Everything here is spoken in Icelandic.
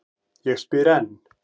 Ég spyr enn.